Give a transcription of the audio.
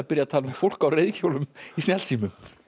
að tala um fólk á reiðhjólum í snjallsímum